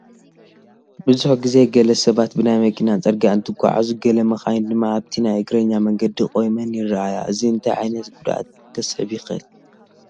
ብዙሕ ግዜ ገለ ሰባት ብናይ መኪና ፅርጊያ እንትጓዓዙ ገለ መኻይን ድማ ኣብቲ ናይ እግረኛ መንገዲ ቆይመን ይርአ፡፡ እዚ እንታይ ዓይነት ጉድኣት ከስዕብ ይኽእል?